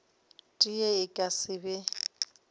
tee e ka se be